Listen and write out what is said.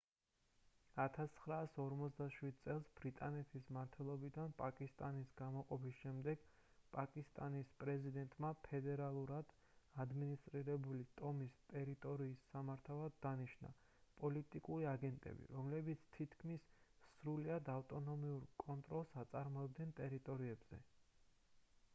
1947 წელს ბრიტანეთის მმართველობიდან პაკისტანის გამოყოფის შემდეგ პაკისტანის პრეზიდენტმა ფედერალურად ადმინისტრირებული ტომის ტერიტორიის სამართავად დანიშნა პოლიტიკური აგენტები რომლებიც თითქმის სრულად ავტონომიური კონტროლს აწარმოებდნენ ტერიტორიებზე